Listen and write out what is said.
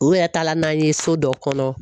U yɛrɛ taala n'an ye so dɔ kɔnɔ